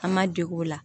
An ma dege o la